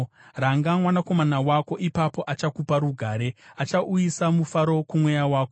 Ranga mwanakomana wako, ipapo achakupa rugare; achauyisa mufaro kumweya wako.